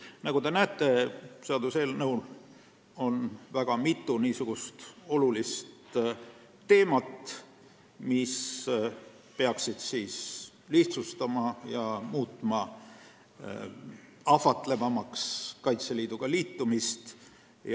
Nagu te näete, seaduseelnõu käsitleb väga mitut olulist teemat, tänu millele peaks Kaitseliitu astumine ahvatlevamaks ja kergemaks muutuma.